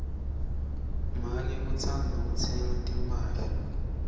make utsandza kutsenga timphahla